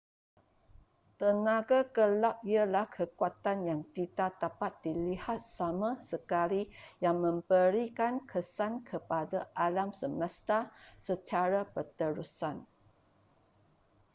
tenaga gelap ialah kekuatan yang tidak dapat dilihat sama sekali yang memberikan kesan kepada alam semesta secara berterusan